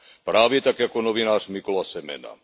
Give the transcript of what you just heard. Právě tak jako novinář Mykola Semena.